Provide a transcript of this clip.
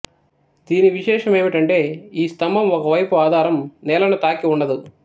దీని విశేషమేమిటంటే ఈ స్తంభం ఒక వైపు ఆధారం నేలను తాకి ఉండదు